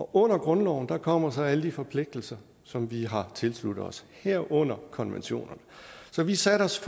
under grundloven kommer så alle de forpligtelser som vi har tilsluttet os herunder konventionerne så vi satte os